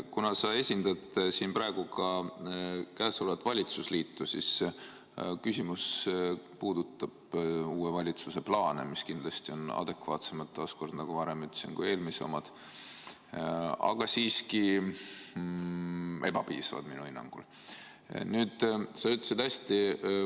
Kuna sa esindad siin praegu ka valitsusliitu, siis küsimus puudutab uue valitsuse plaane, mis kindlasti on adekvaatsemad kui eelmise omad, nagu ma ka varem ütlesin, aga siiski minu hinnangul ebapiisavad.